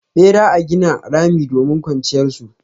Bera a gina rami domin kwanciyar su.